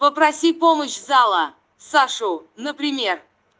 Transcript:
попроси помощь зала сашу например